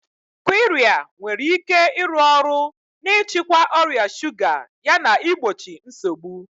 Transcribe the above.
Qirya nwere ike ịrụ ọrụ n'ịchịkwa ọrịa shuga yana igbochi nsogbu.